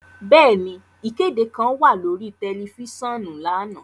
Bẹẹni, ikede kan wa lori tẹlifisiọnu lana.